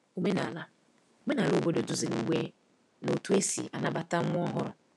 Omenala Omenala obodo duziri mgbe na otú e si anabata nwa ọhụrụ.